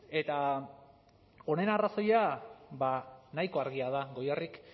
eta honen arrazoia nahiko argia da goierrik